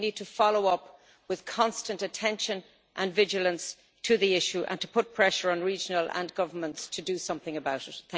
But we need to follow up with constant attention and vigilance to the issue, and we need to put pressure on regions and governments to do something about it.